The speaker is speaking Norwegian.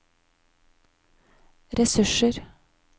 ressurser